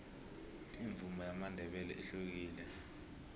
imvumo yamandebele ihlukile